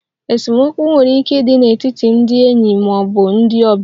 Esemokwu nwere ike ịdị n'etiti ndị enyi ma ọ bụ ndị ọbịa.